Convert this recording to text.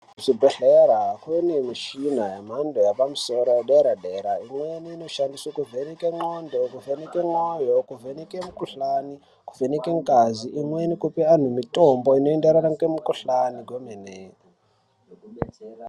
Kuzvibhedlera, kunemishina yemhando yepamsoro wedera dera. Imweni inoshandiswa kovheneka ngxondo, kuvheneke moyo, kuvheneke mukhuhlane, kuvheneke ngazi, imweni kupe anhu mitombo inoyenderana ngemukhuhlane kwemene.